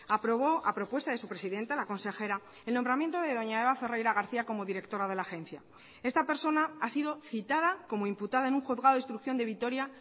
aprobó a propuesta de su presidenta la consejera el nombramiento de doña eva ferreira garcía como directora de la agencia esta persona ha sido citada como imputada en un juzgado de instrucción de vitoria